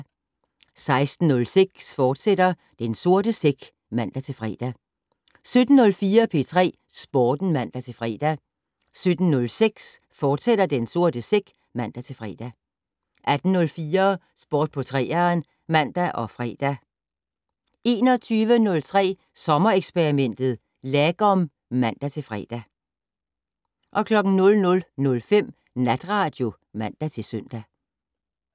16:06: Den sorte sæk, fortsat (man-fre) 17:04: P3 Sporten (man-fre) 17:06: Den sorte sæk, fortsat (man-fre) 18:04: Sport på 3'eren (man og fre) 21:03: Sommereksperimentet: Lagom (man-fre) 00:05: Natradio (man-søn)